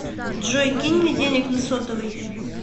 джой кинь мне денег на сотовый